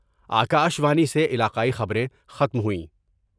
آ کا شوانی سے علاقائی خبریں ختم ہوئیں